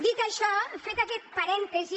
dit això fet aquest parèntesi